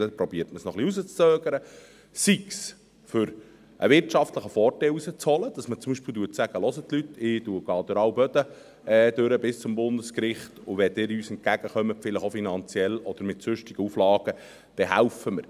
Dann versucht man es ein wenig hinauszuzögern, sei es, um einen wirtschaftlichen Vorteil herauszuholen, indem man zum Beispiel sagt: «Hört Leute, ich gehe durch alle Böden bis zum Bundesgericht, und wenn ihr uns finanziell oder mit sonstigen Auflagen entgegenkommt, dann helfen wir mit.